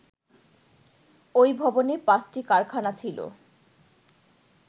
ওই ভবনে পাঁচটি কারখানা ছিল